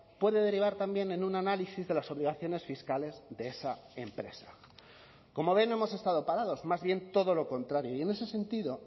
puede derivar también en un análisis de las obligaciones fiscales de esa empresa como ven no hemos estado parados más bien todo lo contrario y en ese sentido